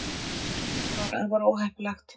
það er afar óheppilegt